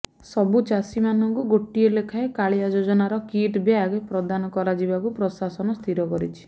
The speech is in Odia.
ସବୁ ଚାଷି ମାନଙ୍କୁ ଗୋଟଏ ଲେଖାଏ କାଳିଆ ଯୋଜନାର କିଟ୍ ବ୍ୟାଗ ପ୍ରଦାନ କରାଯିବାକୁ ପ୍ରଶାସନ ସ୍ଥିର କରିଛି